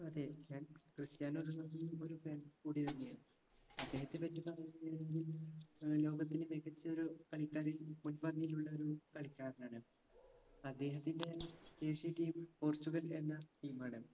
അതെ ഞാൻ ക്രിസ്റ്റ്യാനോ റൊണാൾഡോയുടെയും ഒരു fan കൂടിയായിരുന്നു ഞാൻ അദ്ദേഹത്തെ പറ്റി പറയുകയാണെങ്കിൽ ഏർ ലോകത്തിലെ മികച്ചൊരു കളിക്കാരിൽ മുൻപന്തിയിൽ ഉള്ളൊരു കളിക്കാരനാണ് അദ്ദേഹത്തിൻറെ ദേശീയ team ൽ പോർച്ചുഗൽ എന്ന team ആണ്